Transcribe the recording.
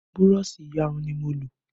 Burọ̀ṣì iyarun ni mo lò